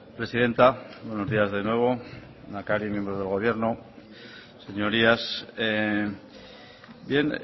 presidenta buenos días de nuevo lehendakari miembros del gobierno señorías bien